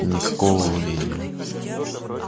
никакого волнения